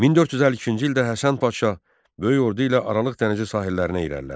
1452-ci ildə Həsən Padşah böyük ordu ilə Aralıq dənizi sahillərinə irəlilədi.